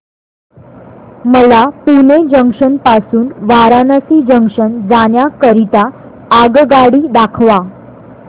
मला पुणे जंक्शन पासून वाराणसी जंक्शन जाण्या करीता आगगाडी दाखवा